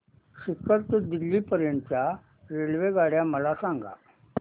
सीकर ते दिल्ली पर्यंत च्या रेल्वेगाड्या मला सांगा